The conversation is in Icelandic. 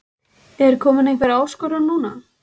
En er komin einhver áskorun núna?